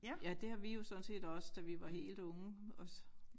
Ja det har vi jo sådan set også da vi var helt unge også